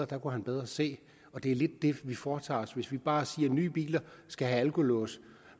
der kunne han bedre se det er lidt det vi foretager os hvis vi bare siger at nye biler skal have alkolås